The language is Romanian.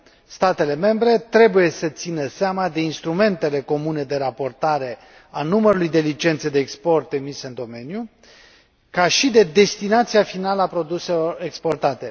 Statele membre trebuie să țină seama de instrumentele comune de raportare a numărului de licențe de export emise în domeniu, ca și de destinația finală a produselor exportate.